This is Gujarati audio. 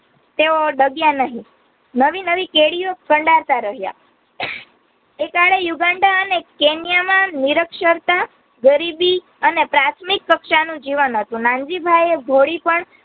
તેઓ દગીયા નહીં નવી નવી કેડિયો કંડારતા રહયા તે કાળે યુગાંડા અને કેનિયા માં નિરક્ષરતા, ગરીબી અને પ્રાથમિક કક્ષાનું જીવન હતું નનજીભાઈએ